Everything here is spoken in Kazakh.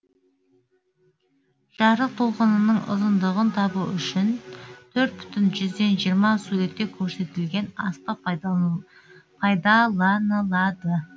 жарық толқынының ұзындығын табу үшін төрт бүтін жүзден жиырма суретте көрсетілген аспап пайдаланылады